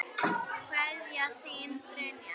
Kveðja, þín Brynja.